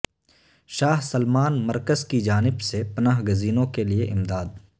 شاہ Salman مرکز کیجانب سے پناہ گزینو ں کےلئے امداد